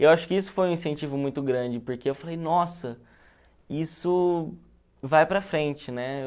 Eu acho que isso foi um incentivo muito grande, porque eu falei, nossa, isso vai para frente, né?